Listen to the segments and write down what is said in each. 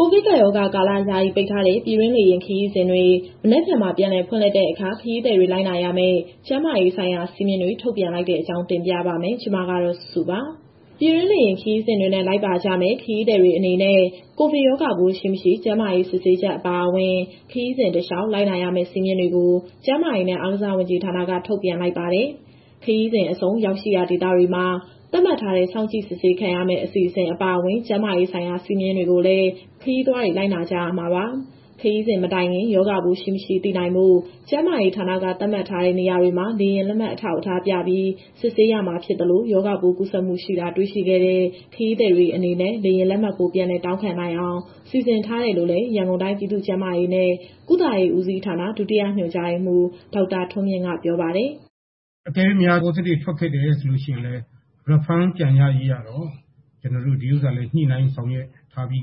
ကိုဗစ်ကပ်ရောဂါကာလ ယာယီပိတ်ထားတဲ့ ပြည်တွင်းလေယာဉ်ခရီးစဉ်တွေ မနက်ဖြန် ပြန်လည် ဖွင့်လှစ်တဲ့အခါ ခရီးသည်တွေ လိုက်နာရမယ့် ကျန်းမာရေးဆိုင်ရာ စည်းမျဉ်းတွေ ထုတ်ပြန်လိုက်တဲ့အကြောင်းကို ဗွီအိုအေမြန်မာပိုင်း သတင်းထောက် မစုစုက တင်ပြပေးပါမယ်။ ပြည်တွင်းလေယာဉ်ခရီးစဉ်တွေနဲ့ လိုက်ပါကြမယ့် ခရီးသည်တွေ အနေနဲ့ ကိုဗစ်ရောဂါပိုးရှိ၊ မရှိ ကျန်းမာရေး စစ်ဆေးချက်အပါအဝင်၊ ခရီးစဉ်တလျှောက် လိုက်နာဆောင်ရွက်ရမယ့် စည်းမျဉ်းတွေကို ကျန်းမာရေးနဲ့ အားကစားဝန်ကြီးဌာနက ထုတ်ပြန်လိုက်ပါတယ်။ ခရီးစဉ်အဆုံး ရောက်ရှိရာဒေသတွေမှာ သတ်မှတ်ထားတဲ့ စောင့်ကြည့်စစ်ဆေးခံရမယ့် အစီအစဉ်အပါအဝင် ကျန်းမာရေးဆိုင်ရာ စည်းကမ်းတွေကိုလည်း ခရီးသွားတွေ လိုက်နာကြရမှာပါ။ ခရီးစဉ်မတိုင်ခင် ရောဂါပိုး ရှိ၊ မရှိ သိနိုင်ဖို့ ကျန်းမာရေးဌာနက သတ်မှတ်ထားတဲ့နေရာတွေမှာ လေယာဉ်လက်မှတ်အထောက်အထားပြပြီး စစ်ဆေးရမှာဖြစ်သလို ရောဂါပိုးကူးစက်မှုရှိတာ စစ်ဆေးတွေ့ရှိခဲ့ ခရီးသည်တွေအနေနဲ့ လေယာဉ်လက်မှတ်ဖိုး ပြန်လည်တောင်းခံနိုင်အောင် စီစဉ်ထားတယ်လို့လည်း ရန်ကုန်တိုင်းပြည်သူ့ကျန်းမာရေးနဲ့ ကုသရေးဦးစီးဌာန၊ ဒုတိယညွှန်ကြားရေးမှူး ဒေါက်တာထွန်းမြင့်က ပြောပါတယ်။ "အကယ်၍များ Positive ထွက်ခဲ့တယ်ဆိုရင် Refund ပြန်ရရေး ညှိနှိုင်းဆောင်ရွက်ထားပြီး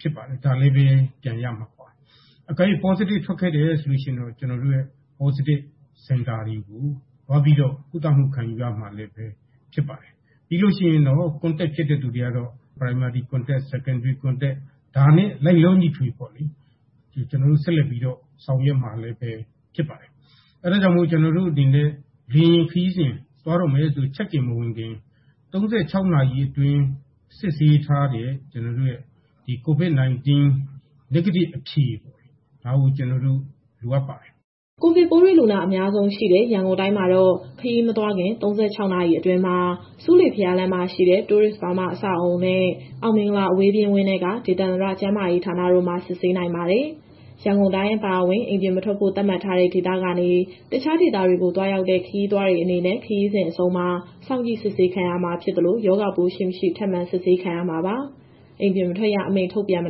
ဖြစ်ပါတယ်။ ဒါလည်းပဲ ပြန်ရမှာပါ။ Positive ထွက်ခဲ့ရင် ကျနော်တို့ရဲ့ Positive Center တွေကို သွားပြီးတော့ ကုသမှုခံယူရမှာ ဖြစ်ပါတယ်။ ပြီးရင် Contact ဖြစ်တဲ့သူတွေကတော့ Primary Contact ၊ Secondary Contact ဒါနဲ့လိုက်လျောညီထွေပေါ့လေ... ကျနော်တို့ဆက်လက် ဆောင်ရွက်မှာဖြစ်ပါတယ်။ အဲဒါကြောင့် လေယာဉ်ခရီးစဉ်သွားတော့မယ်ဆိုရင် Check in မဝင်ခင် ၃၆ နာရီအတွင်း စစ်ဆေးထားတဲ့ ကျနော်တို့ရဲ့ COVID- 19 Negative အဖြေ ဒါကိုကျနော်တို့ လိုအပ်ပါတယ်။" ကိုဗစ်ပိုးတွေ့လူနာ အများဆုံးရှိတဲ့ ရန်ကုန်တိုင်းမှာတော့ ခရီးမထွက်ခင် ၃၆ နာရီအတွင်းမှာ ဆူးလေဘုရားလမ်းမှာရှိတဲ့ Tourist Burma အဆောက်အဦးနဲ့ အောင်မင်္ဂလာအဝေးပြေးဝင်းထဲက ဒေသန္တရကျန်းမာရေးဌာနတို့မှာ စစ်ဆေးနိုင်ပါတယ်။ ရန်ကုန်တိုင်း အပါအဝင် အိမ်ပြင်မထွက်ဖို့ သတ်မှတ်ထားတဲ့ဒေသကနေ တခြားဒေသတွေကိုသွားရောက်တဲ့ ခရီးသွားတွေ အနေနဲ့ ခရီးစဉ်အဆုံးမှာ ရောဂါပိုးရှိ၊ မရှိ စောင့်ကြည့်စစ်ဆေးခံရမှာဖြစ်သလို ရောဂါပိုး ရှိ၊ မရှိ ထပ်မံစစ်ဆေးခံရမှာပါ။ အိမ်ပြင်မထွက်ရ အမိန့်ထုတ်ပြန်မ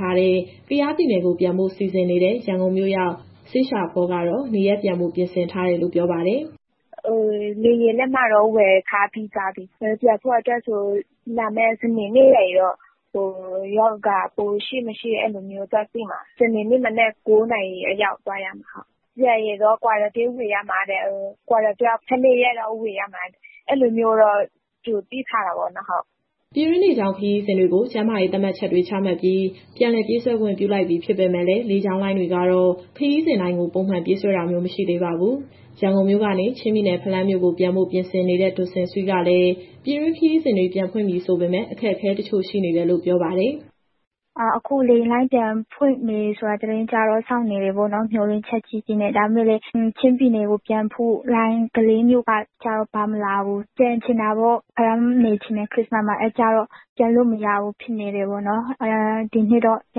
ထားတဲ့ ကယားပြည်နယ်ကိုပြန်ဖို့ စီစဉ်နေတဲ့ ရန်ကုန်မြို့ရောက် စေးရှောဖောကတော့ နေရပ်ပြန်ဖို့ ပြင်ဆင်ထားတယ်လို့ ပြောပါတယ်။ "လေယာဉ်လက်မှတ်တော့ ဝယ်ထားပြီးသွားပြီ။ ပြန်ဖို့အတွက်ကို လာမယ့်စနေနေ့ရောက်ရင် ရောဂါပိုးရှိ မရှိ အဲဒီလိုမျိုးသွားစစ်မှာ။ စနေနေ့ မနက် ၉ နာရီအရောက်သွားရမှာ။ ပြန်ရင်တော့ Quarantine ဝင်ရမှာတဲ့။ Quarantine ၁၂ ရက်ဝင်ရမှာ အဲဒီလိုမျိုးတော့ ကြိုသိထားတာပေါ့နော်။" ပြည်တွင်းလေကြောင်းခရီးစဉ်တွေကို ကျန်းမာရေးသတ်မှတ်ချက်တွေချမှတ်ပြီး ပြန်လည်ပြေးဆွဲခွင့်ပြုလိုက်ပြီဖြစ်ပေမယ့်လည်း လေကြောင်းလိုင်းတွေကတော့ ခရီးစဉ်တိုင်းကိုပုံမှန်ပြေးဆွဲတာမျိုးမရှိသေးပါဘူး။ ရန်ကုန်မြို့ကနေ ချင်းပြည်နယ်၊ ဖလန်းမြို့ကို ပြန်ဖို့ ပြင်ဆင်နေတဲ့ ဒွတ်စင်ဆွီးကလည်း ပြည်တွင်းခရီးစဉ်တွေ ပြန်ဖွင့်ပြီဆိုပေမဲ့ အခက်အခဲတချို့ရှိနေတယ်လို့ ပြောပါတယ်။ "အခုလေယာဉ်လိုင်းပြန်ဖွင့်ပြီ သတင်းကြားတော့ စောင့်နေတာပေါ့နော်။ မျှော်လင့်ချက်ကြီးကြီးနဲ့။ ဒါပေမဲ့လည်း ချင်းပြည်နယ်ကိုပြန်ဖို့လိုင်း ကလေးမြို့ကကျတော့ ပါမလာဘူး။ ပြန်ချင်တာပေါ့ ခရစ္စမတ်ကို ဖလန်းမှာနေချင်တယ်။ ပြန်လို့မရဘူးဖြစ်နေတယ်ပေါ့နော်။ ဒီနှစ်တော့ ရ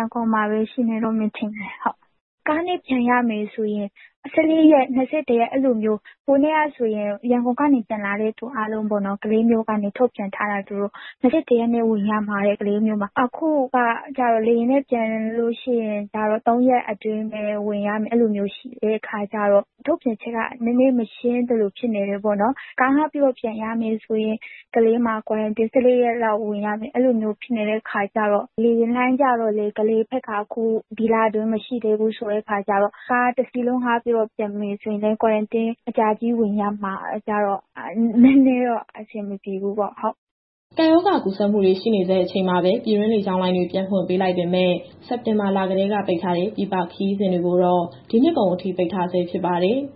န်ကုန်မှာပဲ ရှိနေတော့မယ် ထင်တယ်။ ကားနဲ့ပြန်ရမယ်ဆိုရင် Q ဝင်ဖို့က ၁၄ရက်၊ ၂၁ ရက် အဲဒီလိုမျိုး။ ဟိုတနေ့ကဆိုရင် ရန်ကုန်ကနေပြန်လာတဲ့သူအားလုံးကို ကလေးမြို့ကနေထုတ်ပြန်ထားတာက Q ၂၁ ရက်ဝင်ရမှာတဲ့ ကလေးမြို့မှာ။ အခုကကျတော့ လေယာဉ်နဲ့ပြန်လို့ရှိရင် Q ၃ ရက်ပဲ ဝင်ရမယ်ဆိုတဲ့အခါကျတော့ ထုတ်ပြန်ချက်က နည်းနည်း မရှင်းသလိုဖြစ်နေတယ်ပေါ့နော်။ ကားငှားပြီးတော့ ပြန်ရမယ်ဆိုရင် ကလေးမှာ Q ၁၄ ရက်လောက်ဝင်ရမယ်ဖြစ်နေတော့ လေယာဉ်လိုင်းကျတော့လည်း ကလေးဘက်က အခု ဒီလအတွင်း မရှိသေးဘူးဆိုတော့ ကားတစီးလုံးငှားပြန်မယ်ဆိုလည်း Q အကြာကြီးဝင်ရမှာကျတော့ နည်းနည်းတော့ အဆင်မပြေဘူးပေါ့။" ကပ်ရောဂါကူးစက်မှုတွေ ရှိနေဆဲ အချိန်မှာပဲ ပြည်တွင်းလေကြောင်းလိုင်းတွေ ပြန်ဖွင့်ပေးလိုက်ပေမဲ့ စက်တင်ဘာလကတည်းက ပိတ်ထားတဲ့ ပြည်ပခရီးစဉ်တွေကိုတော့ ဒီနှစ်ကုန်အထိ ပိတ်ထားဆဲ ဖြစ်ပါတယ်။